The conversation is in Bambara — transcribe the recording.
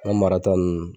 An marata ninnu